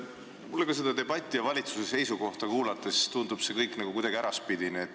Mulle tundub seda debatti ja valitsuse seisukohta kuulates kõik kuidagi äraspidine.